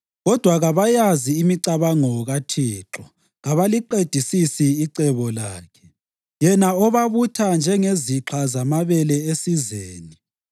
Kodwa kabayazi imicabango kaThixo; kabaliqedisisi icebo lakhe, yena obabutha njengezixha zamabele esizeni.